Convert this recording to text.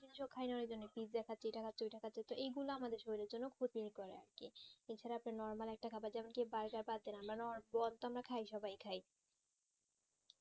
কিছু খাইয়া লিবেন pizza খাচ্ছে এইটা খাচ্ছে ঐটা খাচ্ছে তো এইগুলা আমাদের শরীরের জন্য ক্ষতি করে আরকি এছাড়া তো normal একটা খাবার যেমন কি charger বাদ দিন আমরা তো খাই সবাই সবাই খাই